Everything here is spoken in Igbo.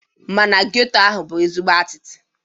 Mana geto ahụ dị ezigbo atịtị.